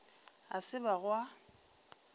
a se ba go a